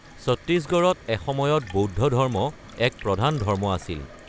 চত্তীশগড়ত এসময়ত বৌদ্ধ ধৰ্ম এক প্ৰধান ধৰ্ম আছিল।